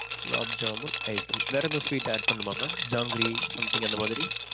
gulab jamun, ice cream வேற ஏதும் sweet add பண்ணணுமா mam? ஜாங்கிரி something அந்தமாதிரி